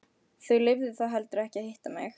Þau lifðu það heldur ekki að hitta mig.